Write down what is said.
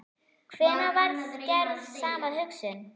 Hvenær varð gerð sama og hugsun?